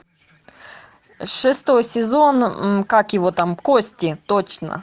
шестой сезон как его там кости точно